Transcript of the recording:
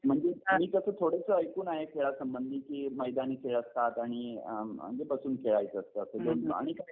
म्हणजे मी कसं थोडंसं ऐकून आहे खेळासंबंधी की मैदानी खेळ आणि बसून खेळायचं असतं असं आणि काय